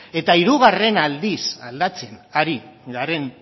eta hirugarren aldiz aldatzen ari garen